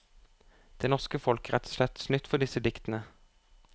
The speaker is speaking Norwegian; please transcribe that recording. Det norske folk er rett og slett snytt for disse diktene.